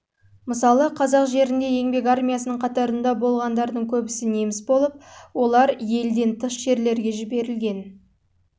мысалы қазақ де еңбек армиясының қатарында болғандардың саны неміс болып оның елден тыс жерлерге жіберілген